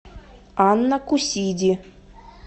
анна кусиди